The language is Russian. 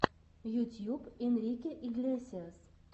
ютьюб энрике иглесиас